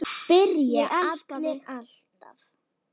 Ég elska þig!